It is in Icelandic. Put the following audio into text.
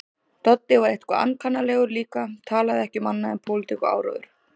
Doddi var eitthvað ankannalegur líka, talaði ekki um annað en pólitík og áróður.